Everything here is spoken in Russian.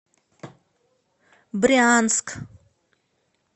брянск